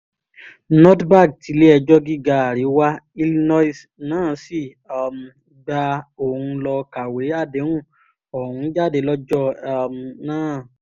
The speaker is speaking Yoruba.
nordberg tilé-ẹjọ́ gíga àríwá illinois náà sì um gba òun lọ kàwé àdéhùn ọ̀hún jáde lọ́jọ́ um náà